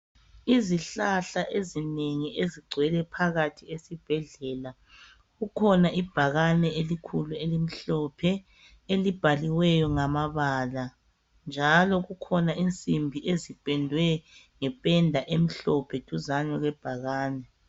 Izihlahla ezinengi ezigcwele phakathi esibhedlela . Kukhona ibhakane elikhulu, elimhlophe. Elibhaliweyo ngamabala, njalo kukhona insimbi ezipendwe ngependa emhlophe, duzane kwebhakani.